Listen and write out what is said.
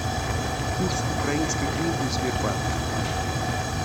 курс украинской гривны в сбербанке